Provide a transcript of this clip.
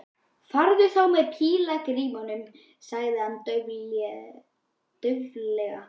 Farðu þá með pílagrímunum sagði hann dauflega.